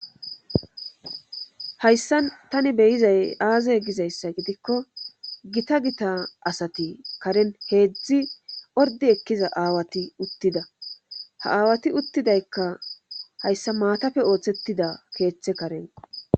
Hayssa tani beyizay aaze gizayssa gidikko gita gita asati karen heedzdzi ordi ekkiza aawati uttida ha aawati uttidaykka hayssa maatafe ooththettida keeththe kareno